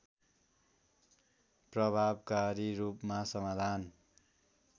प्रभावकारी रूपमा समाधान